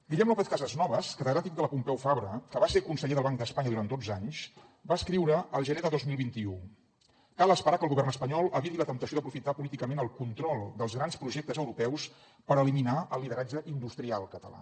guillem lópez casasnovas catedràtic de la pompeu fabra que va ser conseller del banc d’espanya durant dotze anys va escriure al gener de dos mil vint u cal esperar que el govern espanyol eviti la temptació d’aprofitar políticament el control dels grans projectes europeus per eliminar el lideratge industrial català